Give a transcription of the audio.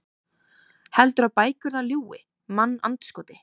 Heldurðu að bækurnar ljúgi, mannandskoti?